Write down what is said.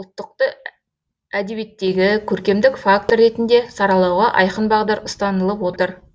ұлттықты әдебиеттегі көркемдік фактор ретінде саралауға айқын бағдар ұстанылып отыр